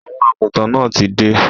Àwọn àgùntàn náà tí dé.